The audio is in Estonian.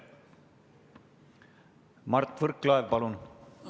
Mart Võrklaev, palun!